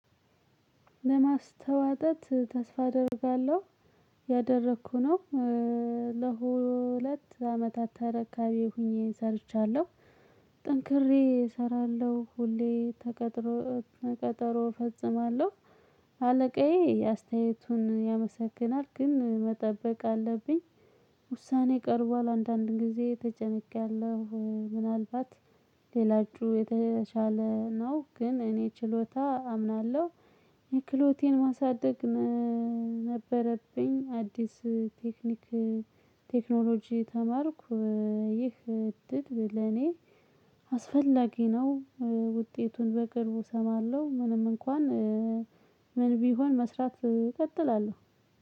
ለማስተዋጠት ተስፋ አደርጋለሁ ያደረኩ ነው። ለሁለት አመታት ተረካቢ ሆኜ ሰርቻለሁ። ጠንክሬ እሰራለሁ ሁሌ። ቀጠሮ እፈጽማለሁ። አለቃዬ አስተያየቱን ያመሰግናል ግን መጠበቅ አለብኝ። ውሳኔ ቀርቧል አንዳንድ ጊዜ ተጨንቄያለሁ። ምናልባት ሌላችሁ የተሻለ ነው ግን እኔ ችሎታ አምናለሁ። የክሎቴን ማሳደግ ነበረብኝ አዲስ ቴክኒክ ቴክኖሎጂ ተማርኩ። ይህ እድል ለኔ አስፈላጊ ነው። ውጤቱን በቅርቡ እሰማለሁ። ምንም እንኳን ምንም ቢሆን መስራት እቀጥላለሁ